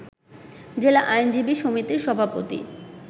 জেলা আইনজীবী সমিতির সভাপতি